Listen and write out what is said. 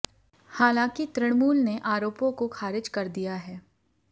हालांकि तृणमूल ने आरोपों को खारिज कर दिया है